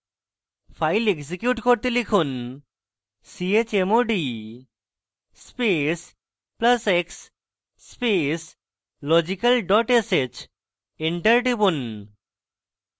file execute করতে লিখুন chmod space plus x space logical dot sh enter টিপুন